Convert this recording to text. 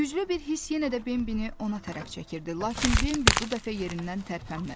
Güclü bir hiss yenə də Bembi ona tərəf çəkirdi, lakin Bembi bu dəfə yerindən tərpənmədi.